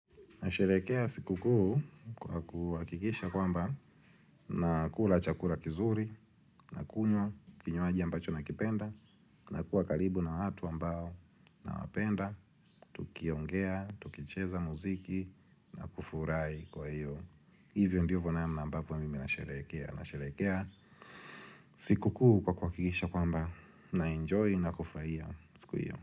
Nasherekea siku kuu kwa kuhuhakisha kwamba nakula chakula kizuri, na kunywa, kinywaji ambacho na kipenda, na kuwa kalibu na watu ambao nawapenda, tukiongea, tukicheza muziki na kufurai kwa iyo. Hivyo ndiyo namna ambavo mimi nasherekea. Nasherekea siku kuu kwa kuhakikisha kwamba na enjoy na kufuraiya. Siku iyo.